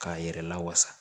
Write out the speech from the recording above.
K'a yɛrɛ lawasa